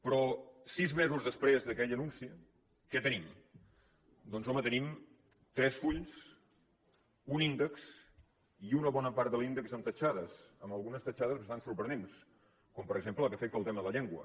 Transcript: però sis mesos després d’aquell anunci què tenim doncs home tenim tres fulls un índex i una bona part de l’índex amb ratllades amb algunes ratllades bastant sorprenents com per exemple la que afecta el tema de la llengua